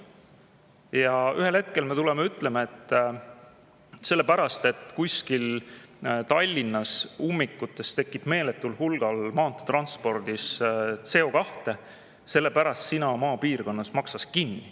Ja ühel hetkel me tuleme ja ütleme, et sellepärast, et kuskil Tallinnas ummikutes tekib meeletul hulgal transpordis CO2, siis sina maapiirkonnas maksad selle ka kinni.